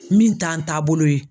Min t'an taabolo ye